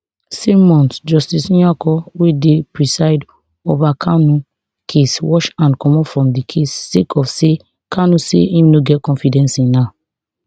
same month justice nyako wey dey preside ovakanu case wash hand comotfrom di case sake of say kanu say im no get confidence in her